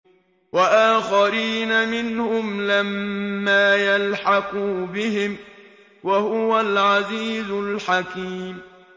وَآخَرِينَ مِنْهُمْ لَمَّا يَلْحَقُوا بِهِمْ ۚ وَهُوَ الْعَزِيزُ الْحَكِيمُ